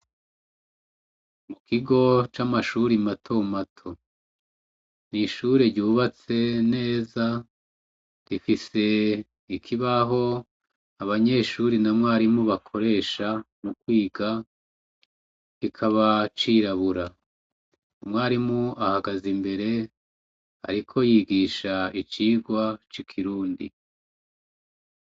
Ikigo camashure matomato mwishure ryubatse neza gifise ikibaho abanyeshure nababarimu bakoresha mukwiga kikaba cirabura umwarimu ahagaze imbere ariko yigisha icirwa cikirundi